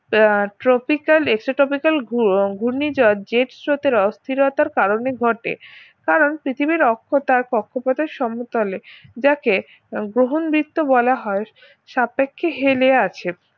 আহ tropical esetropical ঘুর~ ঘূর্ণিঝড় jet স্রোতের অস্থিরতার কারণে ঘটে কারণ পৃথিবীর অক্ষতার কক্ষপথের সমতলে জেক গ্রহণবৃত্য বলা হয় সাপেক্ষে হেলে আছে